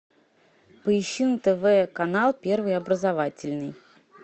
поищи на тв канал первый образовательный